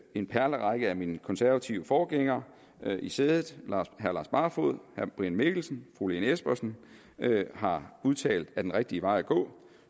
en perlerække af mine konservative forgængere i sædet herre lars barfoed herre brian mikkelsen fru lene espersen har udtalt er den rigtige vej at gå